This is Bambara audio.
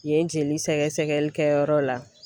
Yen jeli sɛgɛsɛgɛli kɛ yɔrɔ la.